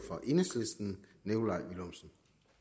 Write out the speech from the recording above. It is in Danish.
fra enhedslisten nikolaj villumsen